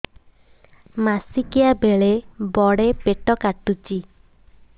ମାସିକିଆ ବେଳେ ବଡେ ପେଟ କାଟୁଚି